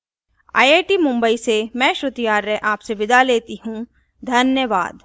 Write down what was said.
यह स्क्रिप्ट लता द्वारा अनुवादित है मैं यश वोरा अब आप से विदा लेता हूँ धन्यवाद